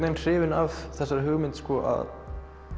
er hrifinn af þessari hugmynd að